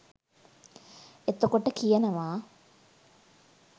එතකොට කියනවා